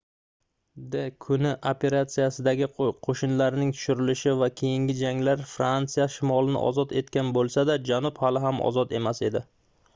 d-kuni operatsiyasidagi qoʻshinlarning tushirilishi va keyingi janglar fransiya shimolini ozod etgan boʻlsa-da janub hali ham ozod emas edi